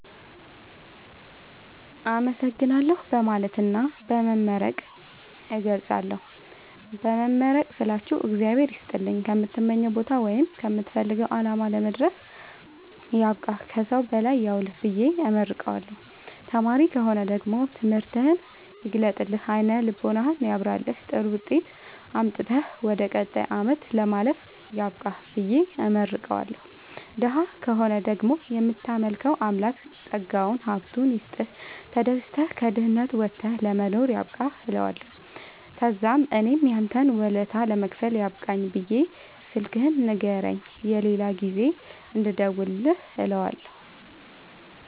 አመሠግናለሁ በማለትና በመመረቅ እገልፃለሁ። በመመረቅ ስላችሁ እግዚአብሄር ይስጥልኝ ከምትመኘዉ ቦታወይም ከምትፈልገዉ አላማ ለመድረስያብቃህ ከሠዉ በላይ ያዉልህብየ እመርቀዋለሁ። ተማሪ ከሆነ ደግሞ ትምህርትህን ይግለጥልህ አይነ ልቦናህን ያብራልህ ጥሩዉጤት አምጥተህ ወደ ቀጣይ አመት ለማለፍ ያብቃህ ብየ እመርቀዋለሁ። ደሀ ከሆነ ደግሞ እምታመልከዉ አምላክ ጠጋዉን ሀብቱይስጥህ ተደስተህ ከድህነት ወተህ ለመኖር ያብቃህእለዋለሁ። ተዛምእኔም ያንተን ወለታ ለመክፈል ያብቃኝ ብየ ስልክህን ንገረኝ የሌላ ጊዜ እንድደዉልልህ እለዋለሁ